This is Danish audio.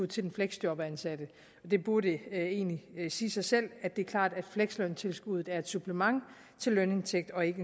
til den fleksjobansatte det burde egentlig sige sig selv det er klart at fleksløntilskuddet er et supplement til lønindtægt og ikke